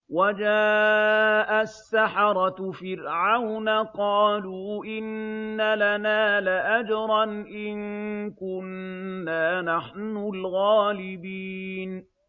وَجَاءَ السَّحَرَةُ فِرْعَوْنَ قَالُوا إِنَّ لَنَا لَأَجْرًا إِن كُنَّا نَحْنُ الْغَالِبِينَ